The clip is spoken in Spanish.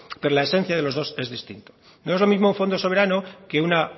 pero la esencia de los dos es distinta no es lo mismo un fondo soberano que una